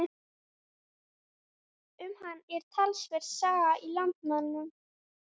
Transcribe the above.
Um hann er talsverð saga í Landnámu.